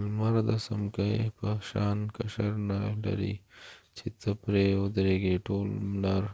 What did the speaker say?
لمر د څمکې په شان قشر نه لري چې ته پری ودرېږی ټول لمر